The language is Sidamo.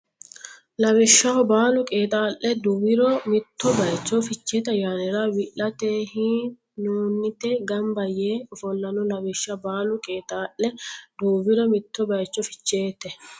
Lawishshaho baalu qeexaa le duuwiro mitto baycho Ficheete ayyaanira wi late hi noonte gamba yee ofollanno Lawishshaho baalu qeexaa le duuwiro mitto baycho Ficheete.